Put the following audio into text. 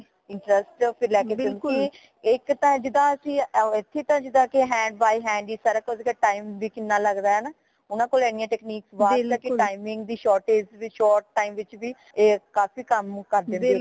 interest ਫਿਰ ਲੈ ਕੇ ਇਕ ਤਾ ਜਿਦਾ ਅਸੀਂ ਏਥੇ ਤਾ ਜਿੰਦਾ ਕਿ hand by hand ਹੀ ਸਾਰਾ ਕੁਛ time ਵੀ ਕਿੰਨਾ ਲਗਦਾ ਹੈ ਹੈ ਨਾ ਓਨਾ ਕੋਲ ਏਨੀਆਂ technique ਖਾਸ ਕਰ ਕੇ timing ਦੀ shortage ਵਿਚ short time ਚ ਵੀ ਕਾਫ਼ੀ ਕਮ ਕਰ ਦੇਂਦੇ